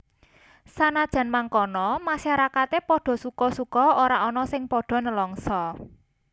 Sanajan mangkono masyarakate padha suka suka ora ana sing padha nelangsa